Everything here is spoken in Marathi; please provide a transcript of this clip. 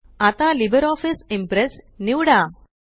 आता लिब्रिऑफिस इम्प्रेस निवडा